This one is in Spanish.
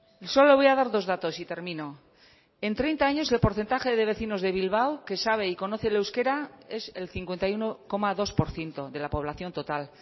y solo voy a dar dos datos y termino en treinta años el porcentaje de vecinos de bilbao que sabe y conoce el euskera es el cincuenta y uno coma dos por ciento de la población total